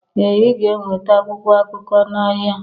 Ee Ị ga-enweta akwụkwọ akụkọ n'ahịa